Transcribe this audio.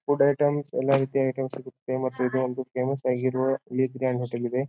Food items ಎಲ್ಲಾ ರೀತಿಯ item ಸಿಗುತ್ತೆ ಮತ್ತು ಇದು ಒಂದು ಫೇಮಸ್ ಆಗಿರುವ ಲೀಕ್ ಗ್ರಾಂಡ್ ಹೋಟೆಲ್ ಇದೆ.